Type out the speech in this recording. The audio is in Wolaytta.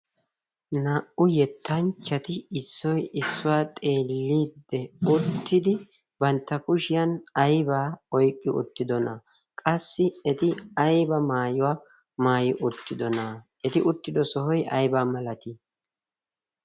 naa'u yettanchchati issoi issuwaa xeelliidde uttidi bantta kushiyan aibaa oyqqi uttidona qassi eti ayba maayuwaa maayi uttidona' aa eti uttido sohoy aibaa malatii?